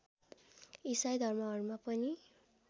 इसाई धर्महरूमा पनि